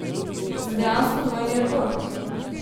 Za dejansko dvojni rekord.